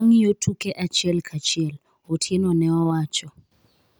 wangiyo tuke achiel ka achiel, Otienone owacho